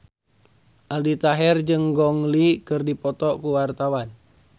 Aldi Taher jeung Gong Li keur dipoto ku wartawan